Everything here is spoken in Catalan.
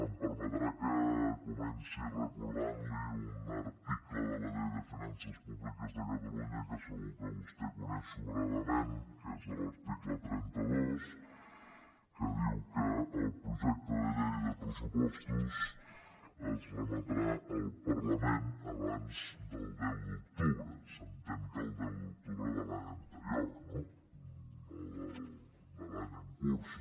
em permetrà que comenci recordant li un article de la llei de finances públiques de catalunya que segur que vostè coneix sobradament que és l’article trenta dos que diu que el projecte de llei de pressupostos es remetrà al parlament abans del deu d’octubre s’entén que el deu d’octubre de l’any anterior no no de l’any en curs